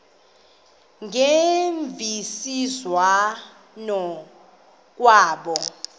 ngemvisiswano r kwabo